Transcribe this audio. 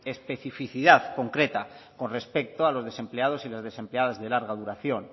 especificidad concreta con respecto a los desempleados y las desempleadas de larga duración